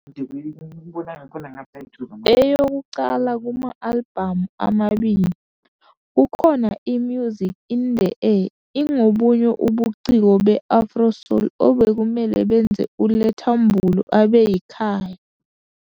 Eyokuqala kuma-albhamu amabili, kukhona i- Music In The Air ingobunye ubuciko be-Afro-soul obekumele benze uLetta Mbulu abe yikhaya.